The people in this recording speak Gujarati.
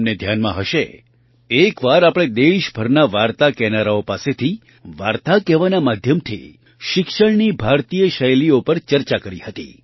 તમને ધ્યાનમાં હશે એક વાર આપણે દેશભરના વાર્તા કહેનારાઓ પાસેથી વાર્તા કહેવાના માધ્યમથી શિક્ષણની ભારતીય શૈલીઓ પર ચર્ચા કરી હતી